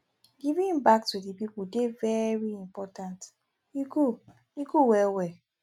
giving back to di people dey very important e goo e goo well well